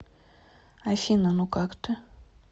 афина ну как ты